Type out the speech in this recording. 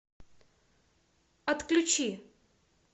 отключи